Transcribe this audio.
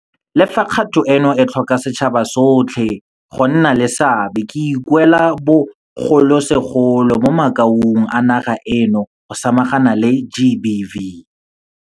Le fa kgato eno e tlhoka setšhaba sotlhe go nna le seabe, ke ikuela bogolosegolo mo makaung a naga eno go samagana le GBV.